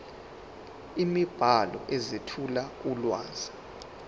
imibhalo ezethula ulwazi